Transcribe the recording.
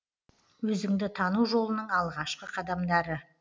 өзіңді тану жолының алғашқы қадамдары